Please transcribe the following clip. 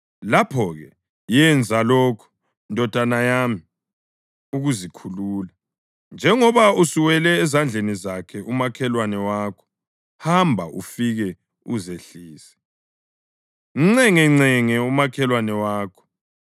lapho-ke yenza lokhu, ndodana yami, ukuzikhulula, njengoba usuwele ezandleni zakhe umakhelwane wakho: Hamba ufike uzehlise; mncengancenge umakhelwane wakho!